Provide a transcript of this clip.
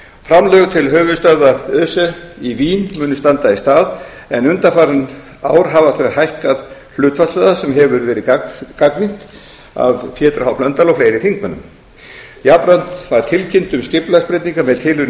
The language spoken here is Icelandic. framlög til höfuðstöðva öse í vín munu standa í stað en undanfarin ár hafa þau hækkað hlutfallslega sem hefur verið gagnrýnt af pétri h blöndal og fleiri þingmönnum jafnframt var tilkynnt um skipulagsbreytingar